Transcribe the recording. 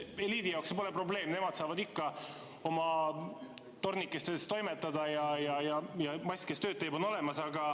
Eliidi jaoks see pole probleem, nemad saavad ikka oma tornikestes toimetada ja mass, kes tööd teeb, on olemas.